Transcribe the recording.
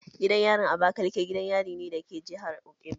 Gidan yarin abakaleke gidan yarin ne da ke jihar Ebonyi